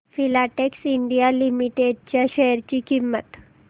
Filatex India limited च्या share ची किंमत